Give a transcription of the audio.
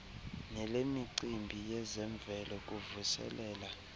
nelemicimbi yezemvelo kuvuselela